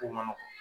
Ko ma nɔgɔ